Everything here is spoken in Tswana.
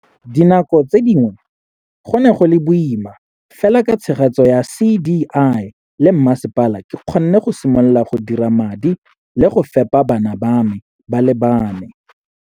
Dinako tse dingwe go ne go le boima, fela ka tshegetso ya CDI le mmasepala, ke kgonne go simolola go dira madi le go fepa bana ba me ba le bane.